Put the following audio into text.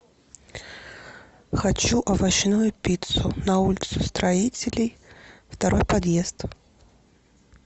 хочу овощную пиццу на улицу строителей второй подъезд